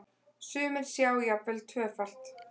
Sumir sjá jafnvel tvöfalt.